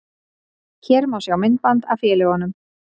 Hér má sjá myndband af félögunum